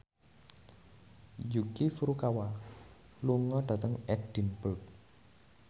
Yuki Furukawa lunga dhateng Edinburgh